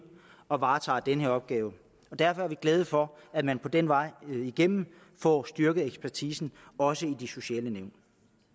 og varetager den opgave derfor er vi glade for at man den vej igennem får styrket ekspertisen også i de sociale nævn